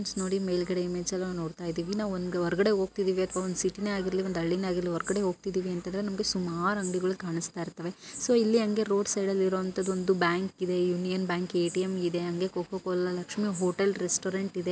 Friends ನೋಡಿ ಮೇಲ್ಗಡೆ image ಅಲ್ಲಿ ನಾವು ನೊಡ್ತಇದೇವೆ ನಾವು ಒಂದು ಹೊರಗಡೆ ಹೋಗ್ತಾ ಇದೇವಿ ನಾವು ಒಂದು ಸೀಟಿನ ಆಗಿರ್ಲಿ ಒಂದ್ ಹಳ್ಳಿನೆ ಆಗಿರ್ಲಿ ಹೊರಗಡೆ ಹೋಗ್ತಿದೀವಿ ಅಂತ ಅಂದ್ರೆ ಸುಮಾರು ಅಂಗಡಿಗಳು ಕಾಣಸ್ತಾಯಿರ್ತಾವೆ ಸೊ ಇಲ್ಲಿ ಹಂಗೆ ರೋಡ್ ಸೈಡ್ ಅಲ್ಲಿ ಇರವಂತಹದ್ದು ಒಂದು ಬ್ಯಾಂಕ್ ಇದೆ ಯೂನಿಯನ್ ಬ್ಯಾಂಕ್ ಎ.ಟಿ.ಎಂ ಇದೆ ಹಂಗೆ coca cola Lakshmi hotel restaurant ಇದೆ.